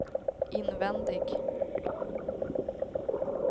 invändig